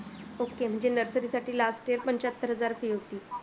Ok म्हणजे nursary साठी last year पंचाहत्तर हजार fees होती.